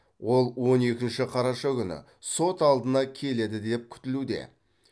ол он екінші қараша күні сот алдына келеді деп күтілуде